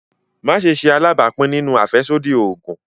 Maṣe ṣe alabapin ninu afẹsodi oogun!